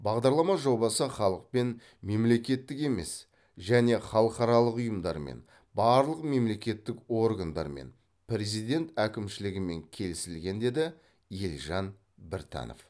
бағдарлама жобасы халықпен мемлекеттік емес және халықаралық ұйымдармен барлық мемлекеттік органдармен президент әкімшілігімен келісілген деді елжан біртанов